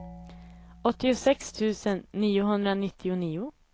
åttiosex tusen niohundranittionio